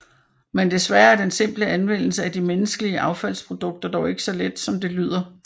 Men desværre er den simple anvendelse af de menneskelige affaldsprodukter dog ikke så let som det lyder